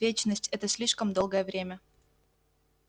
вечность это слишком долгое время